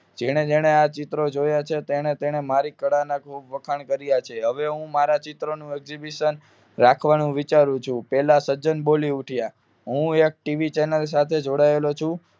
જેને જેને આ ચિત્રો જોયા છે તેને તેને મારા કલાનો ખુબ વખાણ કર્યા છે હવે હું મારા ચિત્રનું exhibition રાખવાનું વિચારું છું પેલા સર્જન બોલી ઉઠ્યા હું એક ટીવી ચેનલ સાથે જોડાયેલો છું